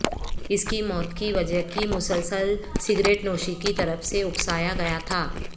اس کی موت کی وجہ کی مسلسل سگریٹ نوشی کی طرف سے اکسایا گیا تھا